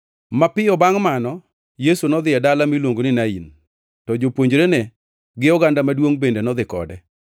Mapiyo bangʼ mano, Yesu nodhi e dala miluongo ni Nain, to jopuonjrene gi oganda maduongʼ bende nodhi kode.